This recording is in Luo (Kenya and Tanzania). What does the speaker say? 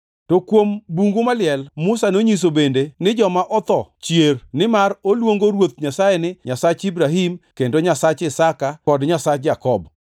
To kuom bungu maliel, Musa nonyiso bende ni joma otho chier, nimar oluongo Ruoth Nyasaye ni, ‘Nyasach Ibrahim, kendo Nyasach Isaka kod Nyasach Jakobo.’ + 20:37 \+xt Wuo 3:6\+xt*